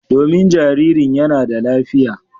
Domin jaririn yana da lafiya.